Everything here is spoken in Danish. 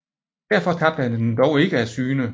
Derfor tabte han den dog ikke af syne